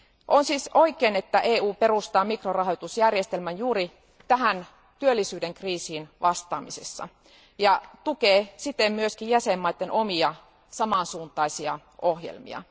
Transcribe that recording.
On siis oikein, että EU perustaa mikrorahoitusjärjestelmän juuri työllisyyden kriisiin vastaamiseksi ja tukee siten myös jäsenvaltioiden omia, samansuuntaisia ohjelmia.